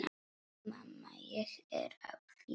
Mamma, ég er að vinna.